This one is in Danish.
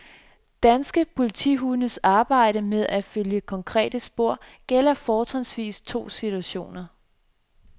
Danske politihundes arbejde med at følge konkrete spor gælder fortrinsvis to situationer.